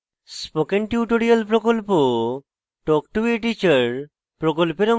spoken tutorial প্রকল্প talk to a teacher প্রকল্পের অংশবিশেষ